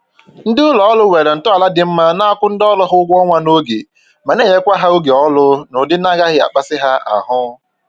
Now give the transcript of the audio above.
Ndị ụlọ ọrụ nwere ntọala dị mma na-akwụ ndị ọrụ ha ụgwọ ọnwa n'oge ma na-enyekwa ha oge ọrụ n'ụdị na-agaghị akpasị ha ahụ